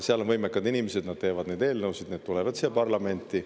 Seal on võimekad inimesed, nad teevad neid eelnõusid, need tulevad siia parlamenti.